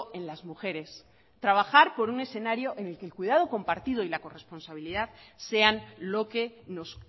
en las mujeres trabajar por un escenario en el que el cuidado compartido y la corresponsabilidad sean lo que nos